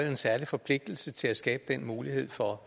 en særlig forpligtelse til at skabe den mulighed for